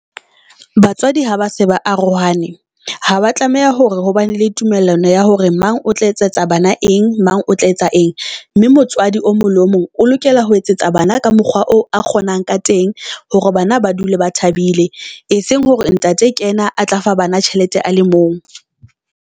Batswadi ha ba se ba arohane ha ba tlameha hore hobane le tumellano ya hore mang o tla etsa etsa bana eng, mang o tla etsa eng. Mme motswadi o mong le o mong o lokela ho etsetsa bana ka mokgwa oo a kgonang ka teng hore bana ba dule ba thabile, e seng hore ntate kena a tla fa bana tjhelete a le mong.